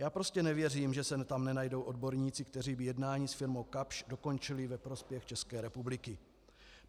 Já prostě nevěřím, že se tam nenajdou odborníci, kteří by jednání s firmou Kapsch dokončili ve prospěch České republiky.